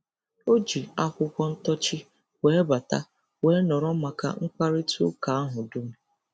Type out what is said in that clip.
O ji akwụkwọ ntọọchị wee bata wee nọrọ maka mkparịtaụka ahụ dum.